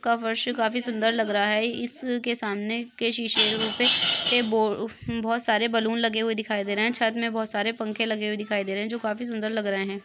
का फर्श काफी सुंदर लग रहा है। इस के सामने के शीशे पे बो बहुत सारे बलून लगे हुए दिखाई दे रहे है। छत मे बहुत सारे पंखे लगे हुए दिखाई दे रहे है जो काफी सुंदर लग रहे है।